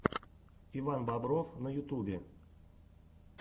иван бобров на ютюбе